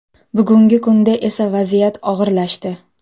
Bugungi kunda esa vaziyat og‘irlashdi.